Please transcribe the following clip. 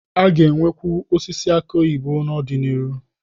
A ga-enwekwu osisi aki oyibo n'ọdịnihu.